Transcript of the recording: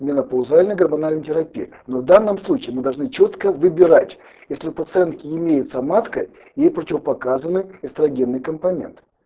менопаузальная гормональная терапия но в данном случае мы должны чётко выбирать если у пациентки имеется матка ей противопоказано эстрогенный компонент